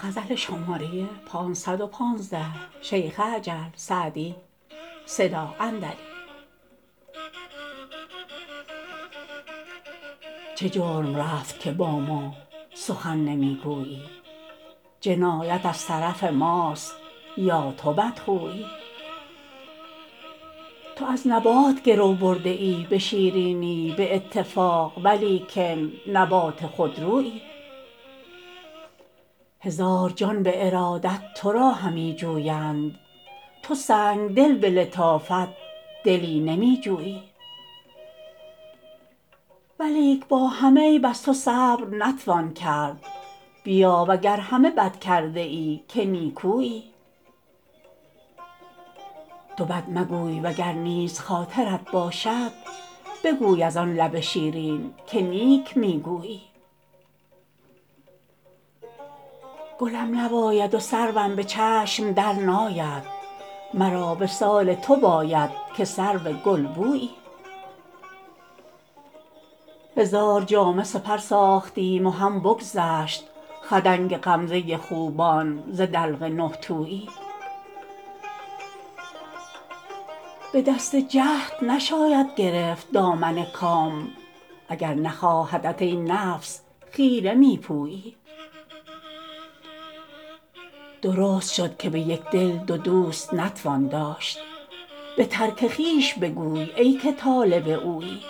چه جرم رفت که با ما سخن نمی گویی جنایت از طرف ماست یا تو بدخویی تو از نبات گرو برده ای به شیرینی به اتفاق ولیکن نبات خودرویی هزار جان به ارادت تو را همی جویند تو سنگدل به لطافت دلی نمی جویی ولیک با همه عیب از تو صبر نتوان کرد بیا و گر همه بد کرده ای که نیکویی تو بد مگوی و گر نیز خاطرت باشد بگوی از آن لب شیرین که نیک می گویی گلم نباید و سروم به چشم درناید مرا وصال تو باید که سرو گلبویی هزار جامه سپر ساختیم و هم بگذشت خدنگ غمزه خوبان ز دلق نه تویی به دست جهد نشاید گرفت دامن کام اگر نخواهدت ای نفس خیره می پویی درست شد که به یک دل دو دوست نتوان داشت به ترک خویش بگوی ای که طالب اویی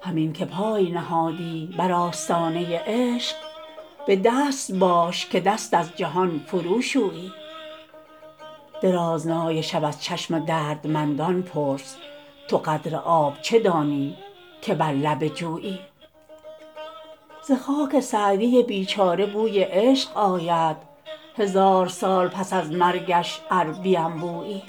همین که پای نهادی بر آستانه عشق به دست باش که دست از جهان فروشویی درازنای شب از چشم دردمندان پرس تو قدر آب چه دانی که بر لب جویی ز خاک سعدی بیچاره بوی عشق آید هزار سال پس از مرگش ار بینبویی